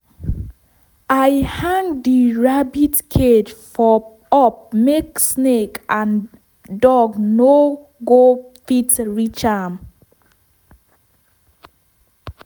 i hang di rabbit cage for up make snake and and dog no go fit reach am.